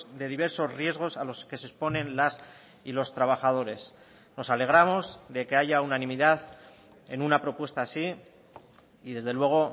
de diversos riesgos a los que se exponen las y los trabajadores nos alegramos de que haya unanimidad en una propuesta así y desde luego